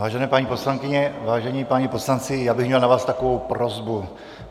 Vážené paní poslankyně, vážení páni poslanci, já bych měl na vás takovou prosbu.